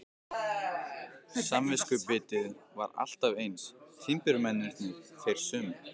Samviskubitið var alltaf eins, timburmennirnir þeir sömu.